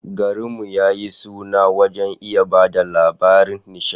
Garin mu ya yi suna wajen iya ba da labaran nishadi